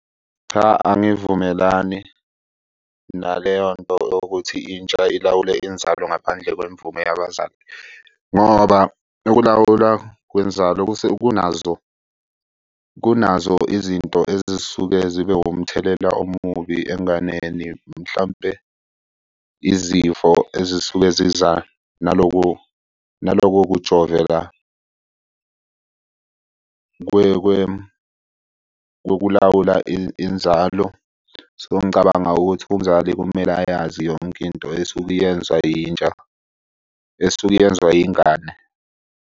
Cha, angivumelani naleyo nto ukuthi intsha ilawule inzalo ngaphandle kwemvume yabazali, ngoba ukulawula kwenzalo kunazo kunazo izinto ezisuke zibe umthelela omubi enganeni. Mhlampe izifo ezisuke ziza naloko naloko kujoveka kokulawula inzalo. So, ngicabanga ukuthi umzali kumele ayazi yonke into esuke iyenziwa intsha esuke yenziwa ingane.